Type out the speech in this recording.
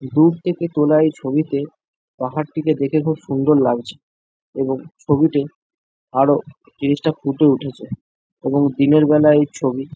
দূর থেকে তোলা এই ছবিতে পাহাড়টিকে দেখে খুব সুন্দর লাগছে এবং ছবিতে আরো জিনিসটা ফুটে উঠেছে এবং দিনের বেলায় এই ছবি--